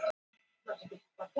Tyrkland